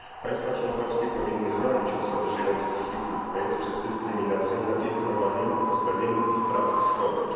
Państwa członkowskie powinny chronić osoby żyjące z HIV lub AIDS przed dyskryminacją, napiętnowaniem i pozbawieniem ich praw i swobód.